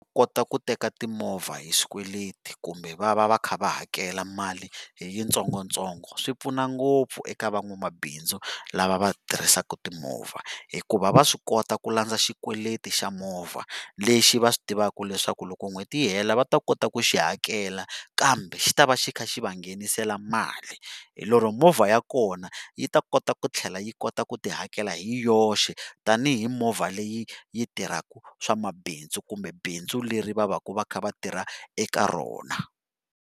ku teka timovha hi swikweleti kumbe va va va kha va hakela mali hi yitsongotsongo swi pfuna ngopfu eka van'wamabindzu lava va tirhisaka timovha hikuva va swi kota ku landza xikweleti xa movha lexi va swi tivaka leswaku loko n'hweti yi hela va ta kota ku xi hakela kambe xi ta va xi kha xi va nghenisela mali hi lero movha ya kona yi ta kota ku tlhela yi kota ku ti hakela hi yoxe tanihi movha leyi yi tirhaka swamabindzu kumbe bindzu leri va va ka va kha va tirha eka rona.